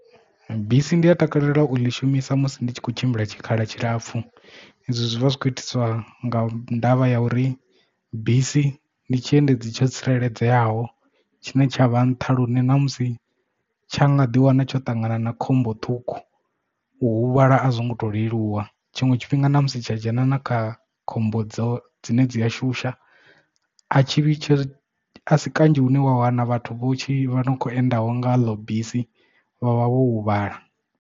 Bisi ndi a takalela u ḽi shumisa musi ndi tshi kho tshimbila tshikhala tshilapfu ezwo zwi vha zwi khou itiswa nga ndavha ya uri bisi ndi tshiendedzi tsho tsireledzeaho tshine tsha vha nṱha lune ṋamusi tsha nga ḓi wana tsho ṱangana na khombo ṱhukhu u huvhala a zwo ngo to leluwa tshinwe tshifhinga na musi tsha dzhena na kha khombo dzo dzine dzi a shusha a tshi asi kanzhi hune wa wana vhathu vho tshi kho enda ho nga ḽo bisi vhavha vho huvhala.